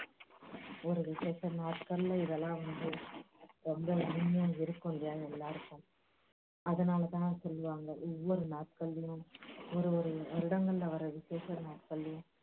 ஒரு விஷேச நாட்கள்ல இதெல்லாம் வந்து ரொம்ப இனிமையா இருக்கும் எல்லருக்கும் அதனால தான் சொல்லுவாங்க எல்லா நாட்கள்லயும் ஒரு ஒரு வருடங்கள்ல வர்ற விஷேச நாட்கள்லயும்